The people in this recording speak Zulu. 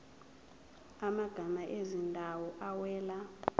amagama ezindawo awela